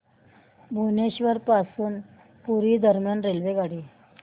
भुवनेश्वर पासून पुरी दरम्यान रेल्वेगाडी